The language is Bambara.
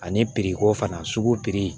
Ani ko fana sugu piri